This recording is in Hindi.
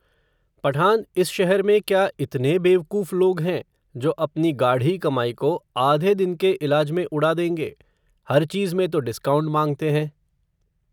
पठान इस शहर में, क्या इतने बेवकूफ़ लोग हैं, जो अपनी गाढ़ी कमाई को, आधे दिन के इलाज में उड़ा देंगे, हर चीज़ में तो डिस्काउंट मांगते हैं